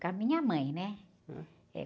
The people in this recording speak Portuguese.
Com a minha mãe, né??.